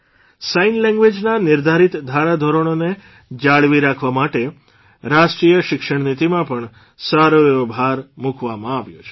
sign લેંગ્વેઝના નિર્ધારીત ધારાધોરણોને જાળવી રાખવા માટે રાષ્ટ્રીય શિક્ષણનીતિમાં પણ સારો એવો ભાર મૂકવામાં આવ્યો છે